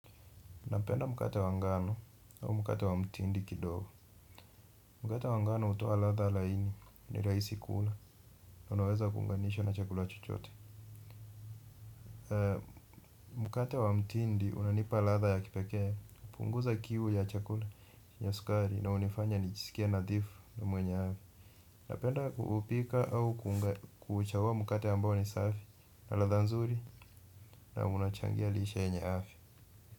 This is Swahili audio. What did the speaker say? Napenda mkate wa ngano au mkate wa mtindi kidogo mkate wa ngano hutoa ladha laini ni rahisi kuula. Na unaweza kuunganishwa na chakula chochote. Mkate wa mtindi unanipa ladha ya kipekee hupunguza kiu ya chakula ya sukari. Na hunifanya nijisikie nadhifu na mwenye afya. Napenda kuupika au kuchagua mkate ambao ni safi. Na ladha nzuri na unachangia lishe yenye afya.